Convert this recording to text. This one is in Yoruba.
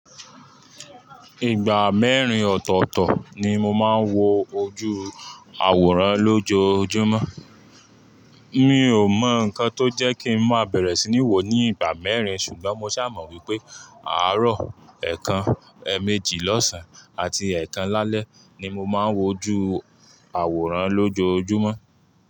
Ìgbà mẹ́rin ọ̀tọ̀ọ̀tọ̀ ni mo máa ń wo ojú àwòrán lójoojúmọ́. Mi ò mọ̀ nǹkan tó jẹ́ kí ń máa bẹ̀rẹ̀ sí ní wò ó ní ìgbà mẹ́rin ṣùgbọ́n mo ṣà mọ̀ wípé àárọ̀, ẹ̀ẹ̀kan, ẹ̀ẹ̀mejì lọ́sàn-án àti ẹ́ẹ̀kan lálẹ́ ni mo máa ń wo ojú àwòrán lójoojúmọ́.